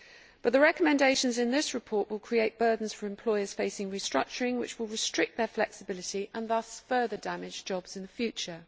But the recommendations in this report will create burdens for employers facing restructuring which will restrict their flexibility and thus further damage jobs in the future.